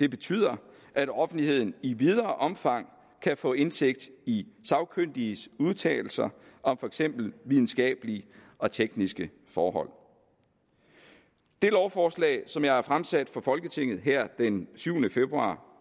det betyder at offentligheden i videre omfang kan få indsigt i sagkyndiges udtalelser om for eksempel videnskabelige og tekniske forhold det lovforslag som jeg har fremsat for folketinget her den syvende februar